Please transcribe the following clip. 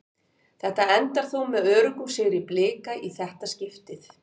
Þetta endar þó með öruggum sigri Blika í þetta skiptið.